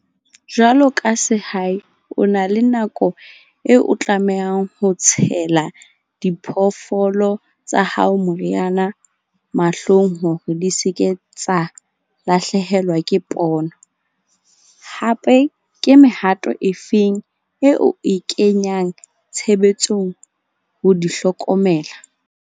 Jwalo ka sehai, o na le nako eo o tlamehang ho tshela diphoofolo tsa hao, moriana mahlong hore di se ke tsa lahlehelwa ke pono. Hape ke mehato e feng eo e kenyang tshebetsong ho di hlokomela?